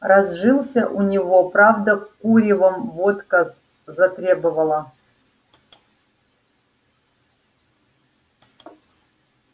разжился у него правда куревом водка затребовала